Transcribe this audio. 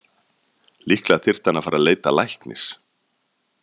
Líklega þyrfti hann að fara að leita læknis.